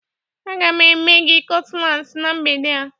Aga m eme gị cutlass na mgbede a